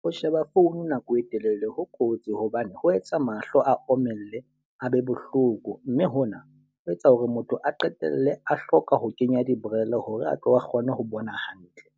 Ho sheba phone nako e telele ho kotsi hobane ho etsa mahlo a omelle a be bohloko. Mme hona ho etsa hore motho a qetelle a hloka ho kenya diborele hore a tlo kgona ho bona hantle.